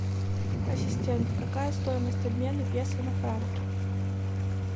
ассистент какая стоимость обмена песо на франки